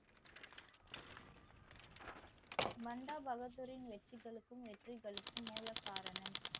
மண்டா பகதூரின் வெற்றிகளுக்கும் நெற்றிகளுக்கும் மூலகாரணம்